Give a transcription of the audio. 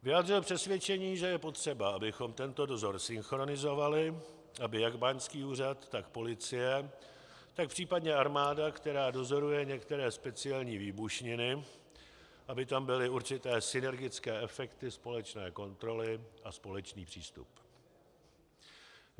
Vyjádřil přesvědčení, že je potřeba, abychom tento dozor synchronizovali, aby jak báňský úřad, tak policie, tak případně armáda, která dozoruje některé speciální výbušniny, aby tam byly určité synergické efekty společné kontroly a společný přístup.